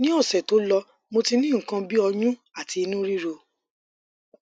ni ose to lo mo ti ni nkan bi oyun ati inu riro